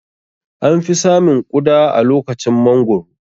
An fi samun Ƙuda a lokacin mangoro